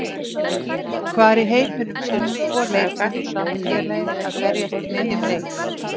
Hvar í heiminum sérðu tvo leikmenn úr sama félagi að berjast í miðjum leik?